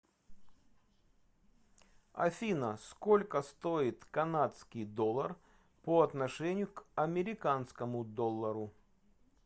афина сколько стоит канадский доллар по отношению к американскому доллару